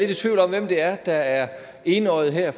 lidt i tvivl om hvem det er der er enøjet her